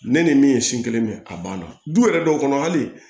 Ne ni min ye sin kelen min a banna du yɛrɛ dɔw kɔnɔ hali